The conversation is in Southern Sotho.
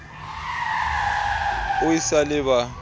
o e sa le ba